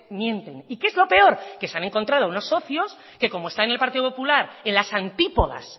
mienten y qué es lo peor que se han encontrado unos socios que como está en el partido popular en las antípodas